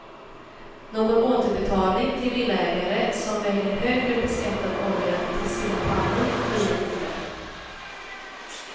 Någon återbetalning till villaägare som väljer högre beskattad olja till sina pannor blir det inte.